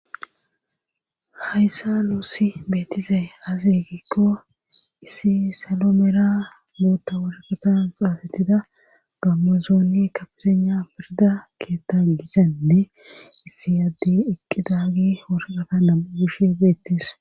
hayssa nuussi beettise azekikko issi salo meera mootta wargatan xaafettida gammozooni ka pisana pirda keetta gisainne issi addi iqqi daagi hosaqata namu gushe beettis